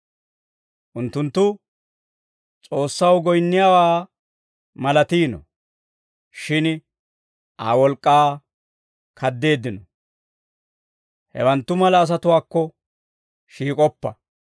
Unttunttu S'oossaw goyinniyaawaa malatiino; shin Aa wolk'k'aa kaddeeddino. Hewanttu mala asatuwaakko shiik'oppa.